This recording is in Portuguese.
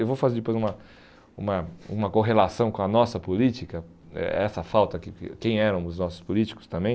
Eu vou fazer depois uma uma uma correlação com a nossa política, eh essa falta, que que quem eram os nossos políticos também.